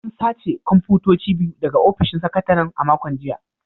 An sace kwamfutoci biyu daga ofishin sakataren a makon jiya